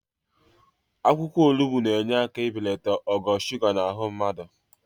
Akwụkwọ olugbo na-enye aka ibelata ogo suga nọ n'ahụ mmadụ.